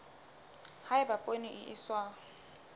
ha eba poone e iswa